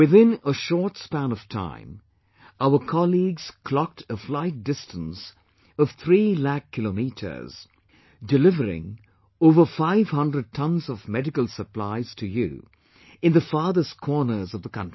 Within a short span of time, our colleagues clocked a flight distance of three lakh kilometers, delivering over five hundred tons of medical supplies to you in the farthest corners of the country